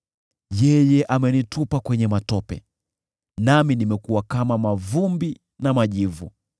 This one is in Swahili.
Yeye amenitupa kwenye matope, nami nimekuwa kama mavumbi na majivu.